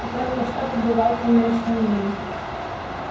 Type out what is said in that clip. и только что побывал в сумеречном мире